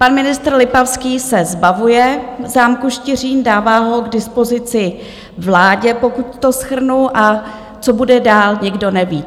Pan ministr Lipavský se zbavuje zámku Štiřín, dává ho k dispozici vládě, pokud to shrnu, a co bude dál, nikdo neví.